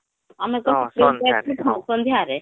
ଆମେ ତ ଟ୍ରେନ ହଁ ସନ୍ଧ୍ୟାରେ